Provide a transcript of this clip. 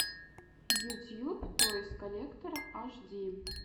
ютьюб тойс коллектор аш ди